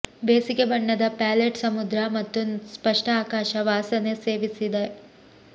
ಬೇಸಿಗೆ ಬಣ್ಣದ ಪ್ಯಾಲೆಟ್ ಸಮುದ್ರ ಮತ್ತು ಸ್ಪಷ್ಟ ಆಕಾಶ ವಾಸನೆ ಸೇವಿಸಿದ